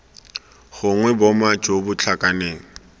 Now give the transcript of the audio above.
gongwe boma jo bo tlhakaneng